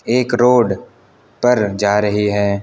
एक रोड पर जा रही है।